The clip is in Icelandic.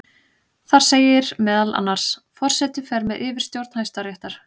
Þar segir meðal annars: Forseti fer með yfirstjórn Hæstaréttar.